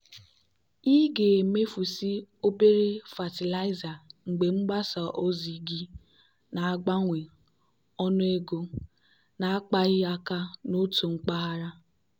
ị ga-emefusị obere fatịlaịza mgbe mgbasa ozi gị na-agbanwe ọnụego na-akpaghị aka n'otu mpaghara.